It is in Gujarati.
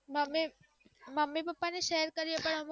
મમ્મી પાપા ને શેર કરીએ તો અમુક વાર